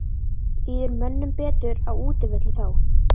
Líður mönnum betur á útivelli þá?